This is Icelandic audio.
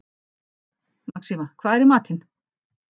Maxima, hvað er í matinn?